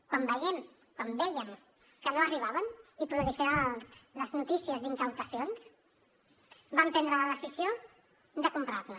quan vèiem que no arribaven i proliferaven les notícies de requises vam prendre la decisió de comprar ne